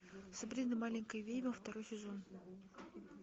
сабрина маленькая ведьма второй сезон